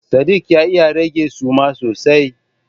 Sadik ya iya rage suma sosai.